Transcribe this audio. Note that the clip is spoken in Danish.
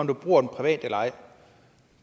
du bruger den privat eller ej